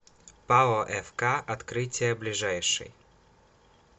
пао фк открытие ближайший